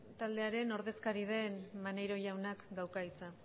taldearen ordezkari den maneiro jaunak dauka hitza